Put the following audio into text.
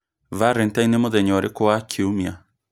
Valentine nĩ mũthenya ũrĩkũ wa kiumia